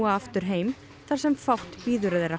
aftur heim þar sem fátt bíður þeirra